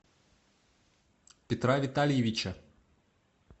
петра витальевича